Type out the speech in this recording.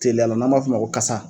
Tiliya la n'an b'a fɔ ma ko kasa